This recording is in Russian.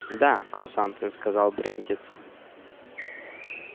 да курсанты сказал брендец